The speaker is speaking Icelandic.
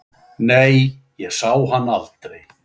Nei, ég sá hann aldrei.